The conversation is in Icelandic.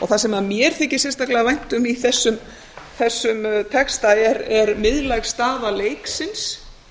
það sem mér þykir sérstaklega vænt um í þessum texta er miðlæg staða leiksins